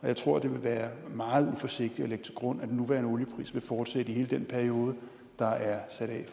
jeg tror det ville være meget uforsigtigt at lægge til grund at den nuværende oliepris vil fortsætte i hele den periode der er sat af